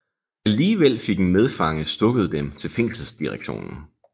Alligevel fik en medfange stukket dem til fængselsdirektionen